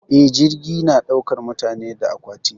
Eh, jirgi na daukar mutane da aƙwati.